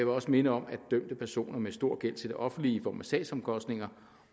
også minde om at dømte personer med stor gæld til det offentlige i form af sagsomkostninger